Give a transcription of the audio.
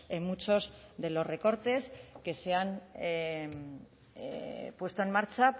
en muchos de los recortes que se han puesto en marcha